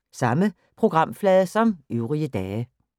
Samme programflade som øvrige dage